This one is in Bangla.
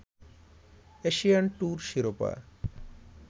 এশিয়ান ট্যুর শিরোপা